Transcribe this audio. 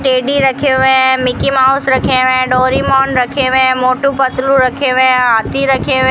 teddy रखे हुए हैं मिकी माउस रखे हैं डोरेमोन रखे हुए मोटू पतलू रखे हुए हाथी रखे हुए --